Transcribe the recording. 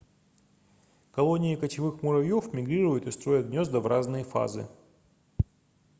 колонии кочевых муравьёв мигрируют и строят гнёзда в разные фазы